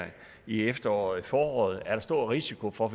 i efteråret og senere i foråret er stor risiko for at